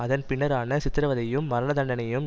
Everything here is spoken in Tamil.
அதன் பின்னரான சித்திரவதையும் மரணதண்டனையையும்